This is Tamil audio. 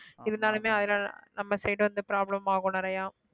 இருந்தாலுமே அதனால நம்ம side வந்து problem ஆகும் நிறையா